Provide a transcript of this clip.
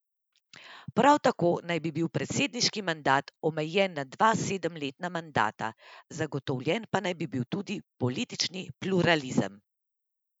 Prav tako naj bi bil predsedniški mandat omejen na dva sedemletna mandata, zagotovljen pa naj bi bil tudi politični pluralizem.